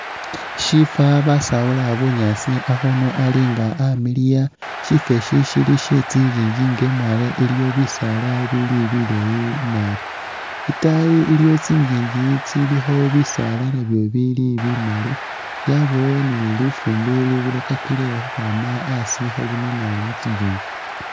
Shifa basawula bunyaasi akhundu ali nga amiliya, shifa isi shili shetsi ngingi nga imwaalo iliwo bisaala bili bileyi naabi itaayi iliyo tsingingi tsilikho bisaala nabyo bili bimali, yabawo ni lufumbi lubirakakile khukhwama a'asi khelunina mutsingingi